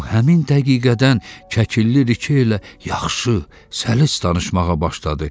O həmin dəqiqədən Kəkilli rike elə yaxşı, səlis danışmağa başladı.